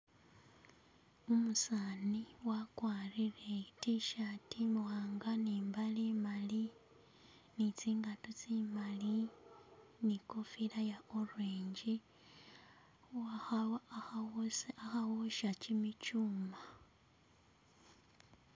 Umusani wakwarire i'tshirt imwanga ne imbale imali ne tsingato tsi mali, ne kofira ye orange akhosha kimichuma